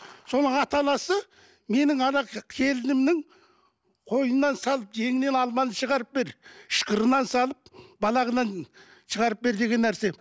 соның ата анасы менің келінімнің қойынынан салып жеңінен алманы шығарып бер ышқырынан салып балағынан шығарып бер деген нәрсе